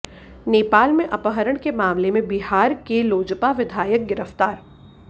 नेपाल में अपहरण के मामले में बिहार के लोजपा विधायक गिरफ्तार